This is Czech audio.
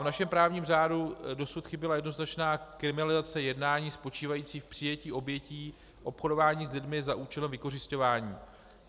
V našem právním řádu dosud chyběla jednoznačná kriminalizace jednání spočívající v přijetí obětí obchodování s lidmi za účelem vykořisťování.